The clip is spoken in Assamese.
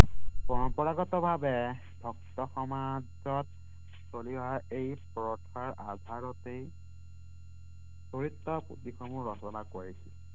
পৰম্পৰাগতভাৱে ভক্ত সমাজত চলি অহা এই প্ৰথাৰ আধাৰতেই চৰিত্ৰ দিশসমূহ নজনাকৈ আছিল